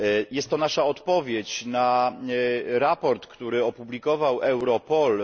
Jest to nasza odpowiedź na raport, który opublikował Europol.